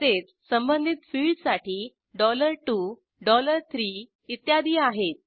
तसेच संबधित फिल्डससाठी 2 3 इत्यादी आहेत